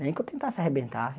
Nem que eu tentasse arrebentar.